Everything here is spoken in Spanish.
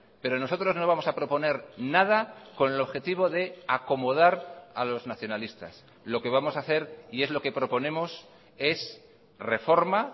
pero nosotros no vamos a proponer nada con el objetivo de acomodar a los nacionalistas lo que vamos a hacer y es lo que proponemos es reforma